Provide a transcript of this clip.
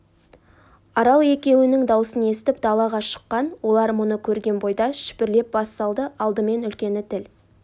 арал екеуінің даусын естіп далаға шыққан олар мұны көрген бойда шүпірлеп бас салды алдымен үлкені тіл